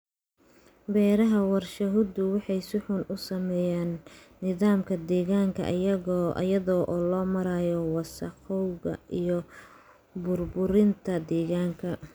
Beeraha warshaduhu waxay si xun u saameeyaan nidaamka deegaanka iyada oo loo marayo wasakhowga iyo burburinta deegaanka.